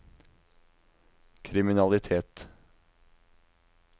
kriminalitet